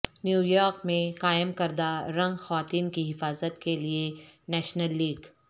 New York میں قائم کردہ رنگ خواتین کی حفاظت کے لئے نیشنل لیگ